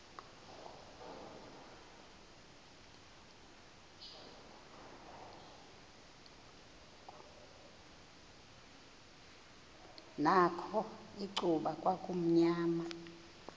nakho icuba kwakumnyama